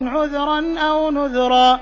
عُذْرًا أَوْ نُذْرًا